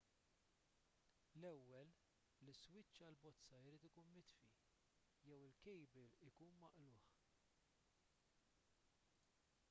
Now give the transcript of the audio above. l-ewwel l-iswiċċ għall-bozza jrid ikun mitfi jew il-kejbil ikun maqlugħ